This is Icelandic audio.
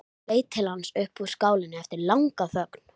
Hún saup allt í einu hveljur.